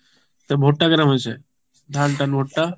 তা ভুট্টা কেমন হয়েছে ধান টান ভুট্টা?